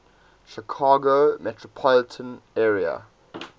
chicago metropolitan area